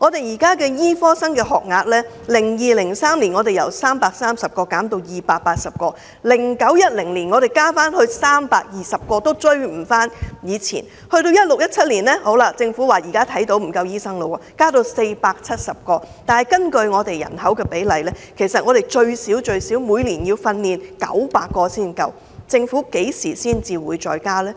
醫科學生的學額在 2002-2003 年度由330名減至280名 ，2009-2010 年度又增加至名，但數目仍未及以前，到了 2016-2017 年度，政府看到沒有足夠醫生，就把學額增加至470名，但根據香港人口比例，其實我們每年最少要訓練900名醫生，政府何時會再增加學額呢？